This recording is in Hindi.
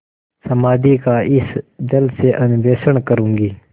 समाधि का इस जल से अन्वेषण करूँगी